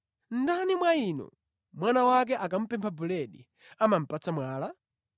“Ndani mwa inu, mwana wake akamupempha buledi amamupatsa mwala?